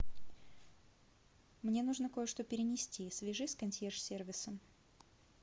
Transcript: мне нужно кое что перенести свяжись с консьерж сервисом